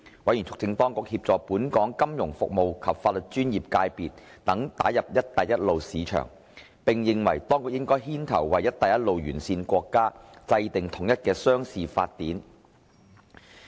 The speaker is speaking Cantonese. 委員促請當局協助本港金融服務及法律專業界別等打入"一帶一路"市場，並認為當局應牽頭為"一帶一路"沿線國家制定統一的商事法典。